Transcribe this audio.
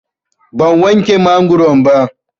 Ban wanke mangoron ba.